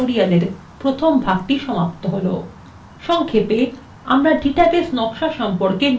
সংক্ষেপে আমরা database design সম্পর্কে নিম্নলিখিত বিষয়গুলি আলোচনা শিখেছি: